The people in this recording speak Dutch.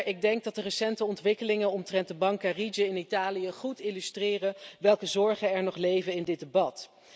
Ik denk dat de recente ontwikkelingen omtrent de bank Carige in Italië goed illustreren welke zorgen er nog leven in dit debat.